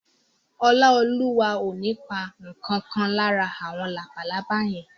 Ọláolúwa ò ní pa ǹkan kan lára àwọn labalábá yẹn